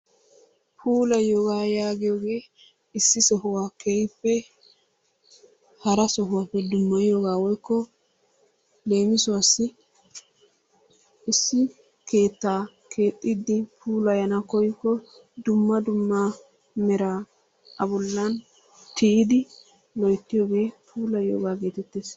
Puulayiyogaa yaagiyogee issi sohuwa keehippe hara sohuwappe dummayiyogaa woykko lewmisuwassi issi keettaa kewxxiiddi puulayana koyikko dumma dumma meraa A bollan tiyidi loyttiyogee puulayiyogaa geetettees.